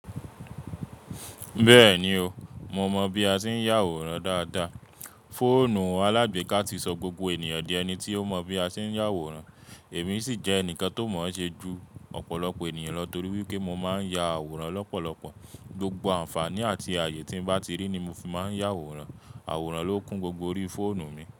Bẹ́ẹ̀ni o, mo mọ bí a ṣe ń yàwòrán dáadáa. Fóònù alágbèéká ti sọ gbogbo ènìyàn di ẹni tí ó mọ bí a ṣe ń yàwòrán, èmi sì jẹ́ ẹnìkan tó mọ̀ ṣe ju ọ̀pọ̀lọpọ̀ ènìyàn lọ torí wípé mo máa ń ya àwòrán lọ́pọ̀lọpọ̀. Gbogbo àǹfààní àti ààyè tí ń bá ti rí ni mo fi máa ń yàwòrán. Àwòrán ló kún gbogbo orí fóònù mi.